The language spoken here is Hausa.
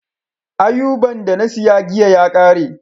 Auaban da na siya giya ya kare.